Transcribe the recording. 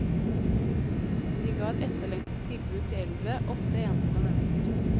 Vi ga et etterlengtet tilbud til eldre, ofte ensomme mennesker.